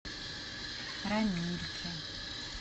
рамильке